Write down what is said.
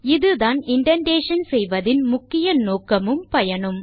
இதுதான் இண்டென்டேஷன் செய்வதின் முக்கிய நோக்கமும் பயனும்